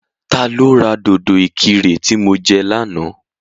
Ta ló ra dòdò ìkirè tí mo jẹ lánàá?